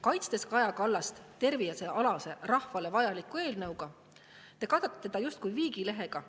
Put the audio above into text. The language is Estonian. Kaitstes Kaja Kallast tervisealase, rahvale vajaliku eelnõuga, te katate teda justkui viigilehega.